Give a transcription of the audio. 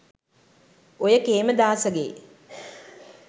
ඔය කේමදාසගේ